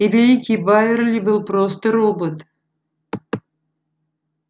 и великий байерли был просто робот